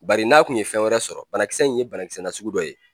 Bari n'a kun ye fɛn wɛrɛ sɔrɔ banakisɛ in ye banakisɛ nasugu dɔ ye.